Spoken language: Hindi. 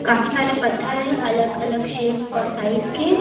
काफी सारे पत्थर हैं अलग-अलग शेप और साइज के --